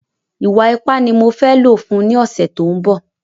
Ìwa ipá ni mo fē lò fun un ni ọ̀sẹ̀ tó ń bọ̀